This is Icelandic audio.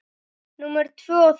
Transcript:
Númer tvö og þrjú.